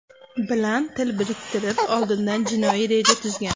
bilan til biriktirib, oldindan jinoiy reja tuzgan.